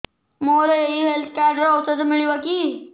ମୋର ଏଇ health card ରେ ଔଷଧ ମିଳିବ କି